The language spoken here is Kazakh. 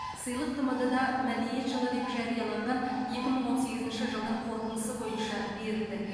сыйлық тмд да мәдениет жылы деп жарияланған екі мың он сегізінші жылдың қорытындысы бойынша берілді